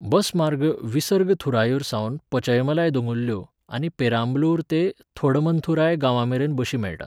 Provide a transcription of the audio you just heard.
बस मार्ग विसर्ग थुरायूर सावन पचैमलाय दोंगुल्ल्यो, आनी पेरांबलूर ते थोंडमंथुराय गांवांमेरेन बशी मेळटात.